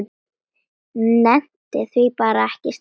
Nennti því bara ekki strax.